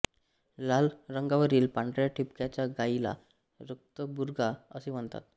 लाल रंगावरील पांढऱ्या ठिपक्याच्या गायीला रक्तबुर्गा असे म्हणतात